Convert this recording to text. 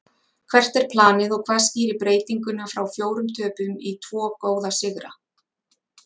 Hvert er planið og hvað skýrir breytinguna frá fjórum töpum í tvo góða sigra?